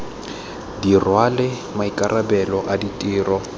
di rwale maikarabelo a ditiro